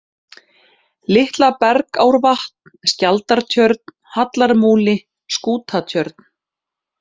Litla-Bergárvatn, Skjaldartjörn, Hallarmúli, Skútatjörn